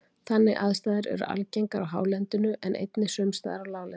Þannig aðstæður eru algengar á hálendinu en einnig sums staðar á láglendi.